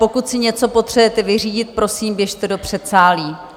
Pokud si něco potřebujete vyřídit, prosím, běžte do předsálí.